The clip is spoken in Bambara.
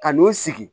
Ka n'o sigi